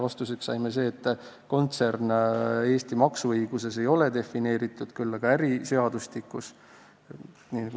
Vastuseks saime, et kontsern ei ole Eesti maksuõiguses defineeritud, küll aga on see defineeritud äriseadustikus.